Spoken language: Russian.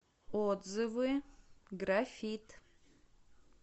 отзывы графит